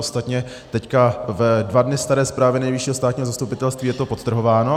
Ostatně teď ve dva dny staré zprávě Nejvyššího státního zastupitelství je to podtrhováno.